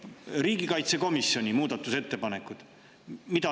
Nüüd ma loen riigikaitsekomisjoni muudatusettepanekuid.